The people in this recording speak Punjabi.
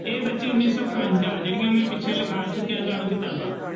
ਇਹ ਬੱਚੇ ਉੱਨੀ ਸੌ ਇਕਵੰਜਾ ਜਿਹੜੀਆਂ ਮੈਂ ਪਿੱਛੇ ਲਿਖਾ ਚੁੱਕਿਆਂ ਤੁਹਾਨੂੰ ਕਿਤਾਬਾਂ।